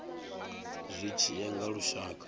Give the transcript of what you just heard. zwi tshi ya nga lushaka